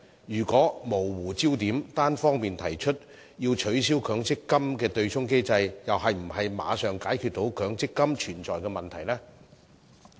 如果模糊焦點，單方面提出取消強積金的對沖機制，又是否能馬上解決強積金的問題呢？